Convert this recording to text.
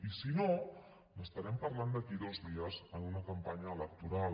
i si no n’estarem parlant d’aquí a dos dies en una campanya electoral